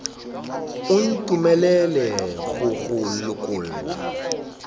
o ntumelele go go lokolla